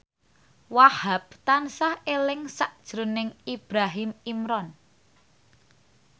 Wahhab tansah eling sakjroning Ibrahim Imran